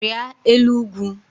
Rịa elu ugwu!